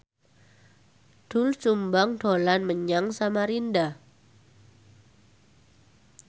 Doel Sumbang dolan menyang Samarinda